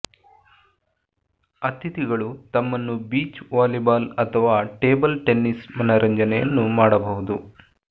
ಅತಿಥಿಗಳು ತಮ್ಮನ್ನು beach volleyball ಅಥವಾ ಟೇಬಲ್ ಟೆನ್ನಿಸ್ ಮನರಂಜನೆಯನ್ನು ಮಾಡಬಹುದು